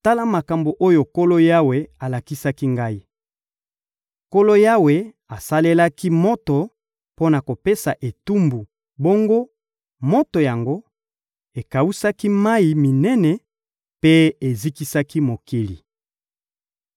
Tala makambo oyo Nkolo Yawe alakisaki ngai. Nkolo Yawe asalelaki moto mpo na kopesa etumbu, bongo moto yango ekawusaki mayi minene mpe ezikisaki mokili.